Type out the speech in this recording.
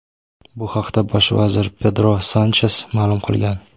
Bu haqda bosh vazir Pedro Sanches ma’lum qilgan.